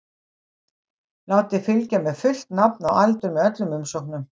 Látið fylgja með fullt nafn og aldur með öllum umsóknum.